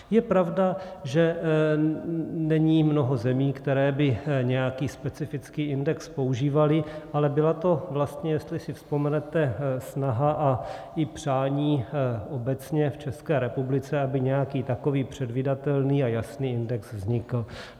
Je pravda, že není mnoho zemí, které by nějaký specifický index používaly, ale byla to vlastně, jestli si vzpomenete, snaha a i přání obecně v České republice, aby nějaký takový předvídatelný a jasný index vznikl.